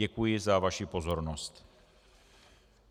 Děkuji za vaši pozornost.